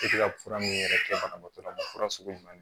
E tɛ ka fura min yɛrɛ kɛ banabaatɔ la fura sugu jumɛn